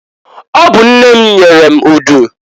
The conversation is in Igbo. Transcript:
Ọ bụ nne m nyere m udu.